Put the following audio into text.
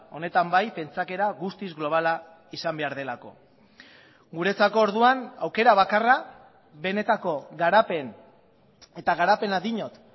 honetan bai pentsakera guztiz globala izan behar delako guretzako orduan aukera bakarra benetako garapen eta garapena diot